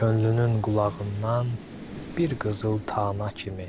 Könlünün qulağından bir qızıl tana kimi.